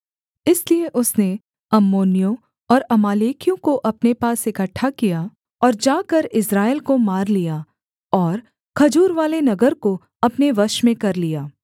इसलिए उसने अम्मोनियों और अमालेकियों को अपने पास इकट्ठा किया और जाकर इस्राएल को मार लिया और खजूरवाले नगर को अपने वश में कर लिया